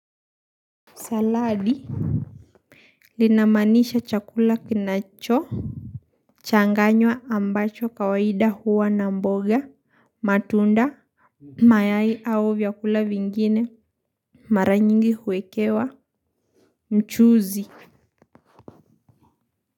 Saladi linamaanisha chakula kinachochanganywa ambacho kawaida huwa na mboga, matunda, mayai au vyakula vingine, mara nyingi huekewa mchuzi.